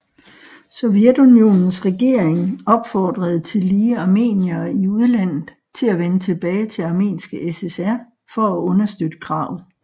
Sovjetunionens regering opfordrede tillige Armeniere i udlandet til at vende tilbage til Armenske SSR for at understøtte kravet